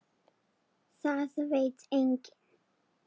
Það veit enginn.